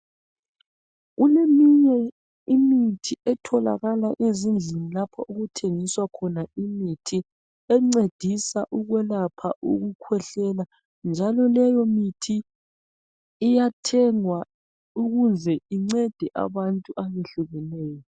Kuleminye imithi etholakala ezindlini lapho okuthengiswa khona imithi encedisa ukwelapha ukukhwehlela njalo leyo mithi iyathengwa ukuze incede abantu abehlukeneyo.